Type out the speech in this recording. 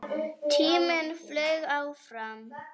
Tíminn flaug áfram.